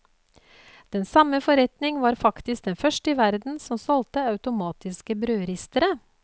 Den samme forretning var faktisk den første i verden som solgte automatiske brødristere.